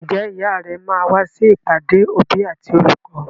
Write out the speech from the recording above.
Ǹjẹ́ ìyá rẹ máa wá sí ìpàdé òbí àti olùkọ́?